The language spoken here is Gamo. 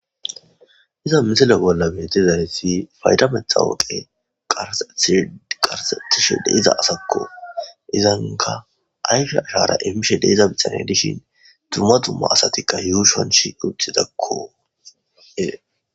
iza misele bolla meetizaresi faydametha woqe qarsetishe de iza asakko izanka ayfe ashara imishe deiza bixane dishin dumma dumma asatikka yuushonsh uthidakko